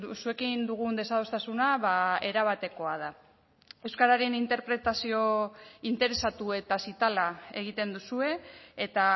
zuekin dugun desadostasuna erabatekoa da euskararen interpretazio interesatu eta zitala egiten duzue eta